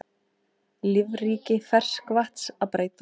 Lífríki ferskvatns að breytast